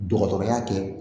Dɔgɔtɔrɔya kɛ